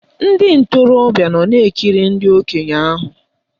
Ndị ntorobịa nọ na-ekiri ndị okenye ahụ